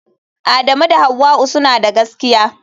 Adamu da Hauwa'u suna da gaskiya.